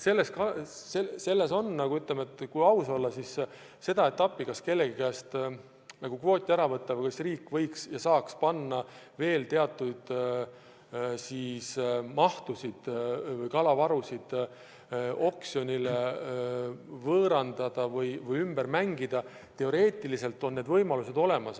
Kas kellegi käest kvooti ära võtta või kas riik võiks ja saaks teatud mahtusid oksjonile panna, võõrandada või ümber mängida – teoreetiliselt on need võimalused olemas.